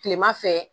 Kilema fɛ